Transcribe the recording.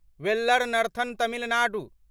valour नर्थर्न Tamil Nadu